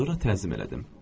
Sonra təzim elədim.